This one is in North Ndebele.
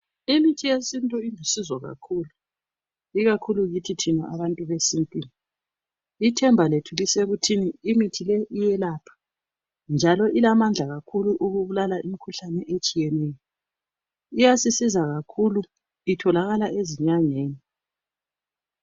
Imithi yesintu ilusizo kakhulu, ikakhulu kithi thina abantu besintwini ithemba lethu lisekutheni imithi le iyelapha njalo iyasebenza kakhulu ukubulala imikhuhlane etshiyeneyo. Iyasisiza kakhulu itholakala ezinyangeni